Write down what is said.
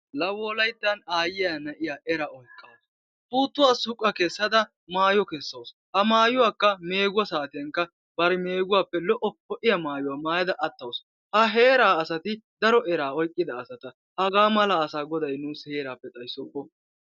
La Wolayttan aayyiya na'iya era oyqqaasu, puuttuwa suqqa kessada mayyo keessawus. ha maayyuwakka meeggo saatiyankka bari meegguwappe dlo''o ho''iya maayyuwa maayyada attaasu. ha heerati daro era oyqqada asata. haga mala asa Goday nuyyo heerappe xayssoppo!